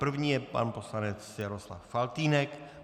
První je pan poslanec Jaroslav Faltýnek.